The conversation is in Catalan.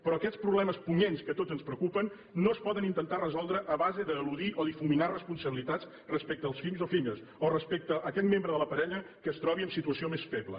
però aquests problemes punyents que a tots ens preocupen no es poden intentar resoldre a base d’eludir o difuminar responsabilitats respecte als fills o filles o respecte a aquell membre de la parella que es trobi en situació més feble